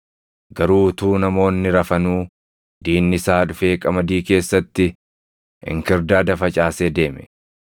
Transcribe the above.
Garuu utuu namoonni rafanuu diinni isaa dhufee qamadii keessatti inkirdaada facaasee deeme.